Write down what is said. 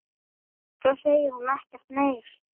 Svo segir hún ekkert meir.